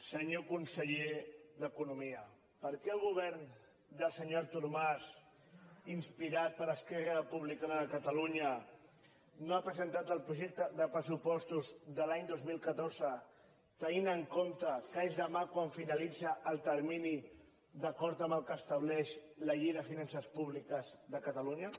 senyor conseller d’economia per què el govern del senyor artur mas inspirat per esquerra republicana de catalunya no ha presentat el projecte de pressupostos de l’any dos mil catorze tenint en compte que és demà quan finalitza el termini d’acord amb el que estableix la llei de finances públiques de catalunya